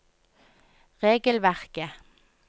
regelverket